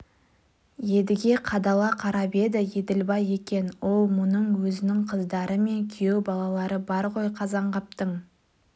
едіге қадала қарап еді еділбай екен оу мұның өзінің қыздары мен күйеу балалары бар ғой қазанғаптың